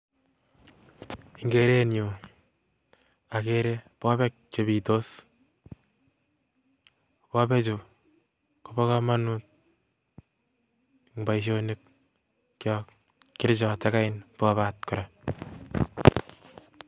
Eng kerenyun okere bobek chebitos, bobechuu kobokomonut en boishonikyok, kerichot akot bobaat kora.